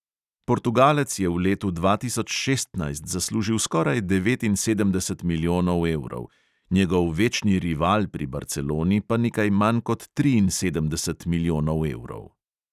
Portugalec je v letu dva tisoč šestnajst zaslužil skoraj devetinsedemdeset milijonov evrov, njegov večni rival pri barceloni pa nekaj manj kot triinsedemdeset milijonov evrov.